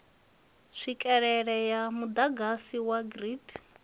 tswikelele ya muḓagasi wa grid